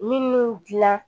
Minnu dilan